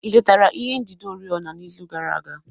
Ị zụtara ihe njide oriọna n'izu gara aga?